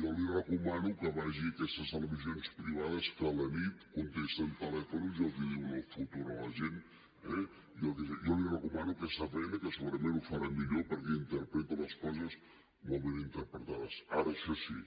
jo li recomano que vagi a aquestes televisions privades que a la nit contesten telèfons i els diuen el futur a la gent eh jo li recomano aquesta feina que segurament ho farà millor perquè interpreta les coses molt ben interpretades ara això sí